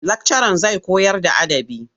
Lakcaran zai koyarda adabı yau.